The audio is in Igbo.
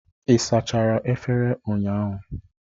Ị sachara efere ụnyahụ?